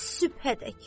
Ta sübhədək.